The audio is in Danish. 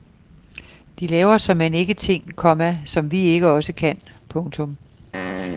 De laver såmænd ikke ting, komma som vi ikke også kan. punktum